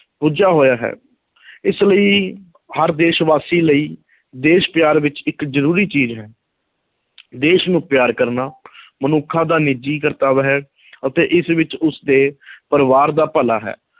ਬੱਝਾ ਹੋਇਆ ਹੈ ਇਸ ਲਈ ਹਰ ਦੇਸ਼ ਵਾਸੀ ਲਈ ਦੇਸ਼ ਪਿਆਰ ਵਿੱਚ ਇੱਕ ਜ਼ਰੂਰੀ ਚੀਜ਼ ਹੈ ਦੇਸ਼ ਨੂੰ ਪਿਆਰ ਕਰਨਾ ਮਨੁੱਖਾਂ ਦਾ ਨਿੱਜੀ ਕਰਤੱਵ ਹੈ ਅਤੇ ਇਸ ਵਿੱਚ ਉਸਦੇ ਪਰਿਵਾਰ ਦਾ ਭਲਾ ਹੈ,